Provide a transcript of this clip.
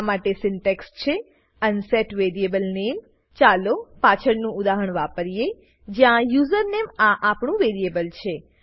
આ માટે સિન્ટેક્સ છે અનસેટ વેરિયેબલનેમ ચાલો પાછળનું ઉદાહરણ વાપરીએ જ્યાં યુઝરનેમ આ આપણું વેરીએબલ છે